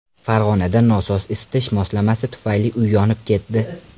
Farg‘onada nosoz isitish moslamasi tufayli uy yonib ketdi.